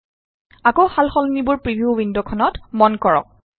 আকৌ সালসলনিবোৰ প্ৰিভিউ ৱিণ্ডখনত মন কৰক